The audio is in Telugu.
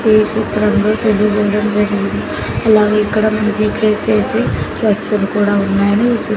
ఈ చిత్రంలో తెలుగు ఉండడం లేదు అలాగే ఇక్కడ మనకి రీప్రెష్ చేసి కూడా ఉన్నాది.